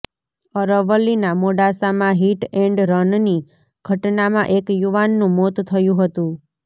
અરવલ્લીના મોડાસામાં hit and રનની ઘટનામાં એક યુવાનું મોત થયુ હતુ